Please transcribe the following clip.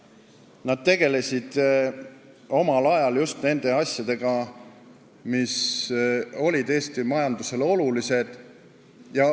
Nad tegelesid omal ajal just nende asjadega, mis olid Eesti majandusele olulised.